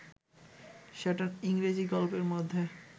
সেটা ইংরেজী গল্পের মধ্যে